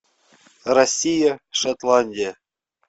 россия шотландия